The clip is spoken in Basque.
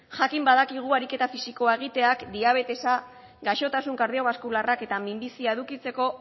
jakin badakigu ariketa fisikoa egiteak diabetesa gaixotasun kardiobaskularrak eta minbizia edukitzeko